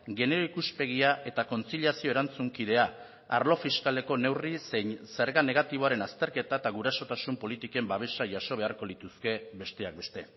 genero ikuspegia eta kontziliazio erantzunkidea arlo fiskaleko neurri zein zerga negatiboaren azterketa eta gurasotasun politiken babesa jaso beharko lituzke besteak beste